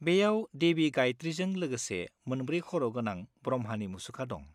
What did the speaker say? बेयाव देवी गायत्रीजों लोगोसे मोनब्रै खर' गोनां ब्रह्मानि मुसुखा दं।